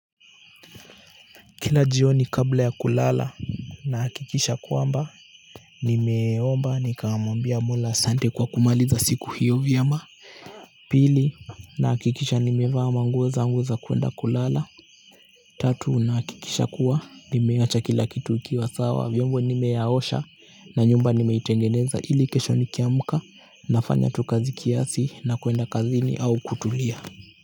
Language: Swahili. Kila jioni kabla ya kulala na hakikisha kwamba nimeomba nikamwambia Mola asante kwa kumaliza siku hiyo vyema pili na hakikisha nimevaa nguo zangu za kuenda kulala tatu na hakikisha kuwa nimeacha kila kitu kikiwa sawa viombo nimeosha na nyumba nimeitengeneza ili kesho nikiamka nafanya tu kazi kiasi na kuenda kazini au kutulia